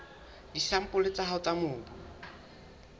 disampole tsa hao tsa mobu